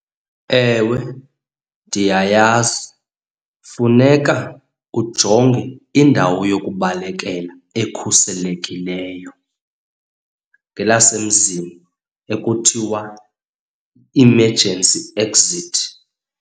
Ewe, ndiyayazi. Kufuneka ujonge indawo yokubalekela ekhuselekileyo, ngelasemzini ekuthiwa emergency exit.